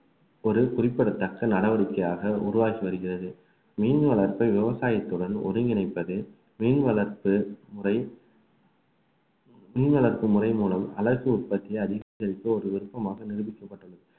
ஒரு குறிப்பிடத்தக்க நடவடிக்கையாக உருவாகி வருகிறது மீன் வளர்ப்பை விவசாயத்துடன் ஒருங்கிணைப்பது மீன் வளர்ப்பு முறை மீன் வளர்ப்பு முறை மூலம் அழகு உற்பத்தியை அதிகரித்து ஒரு விருப்பமாக நிரூபிக்கப்பட்டுள்ளது